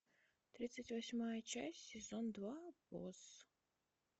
тридцать восьмая часть сезон два босс